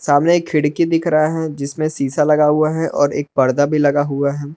सामने एक खिड़की दिख रहा है जिसमें शीशा लगा हुआ है और एक पर्दा भी लगा हुआ है।